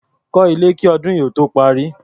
Kọ́ ilé kí ọdún yìí ó tó parí.